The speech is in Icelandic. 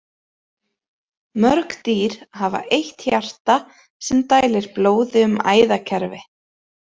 Mörg dýr hafa eitt hjarta sem dælir blóði um æðakerfi.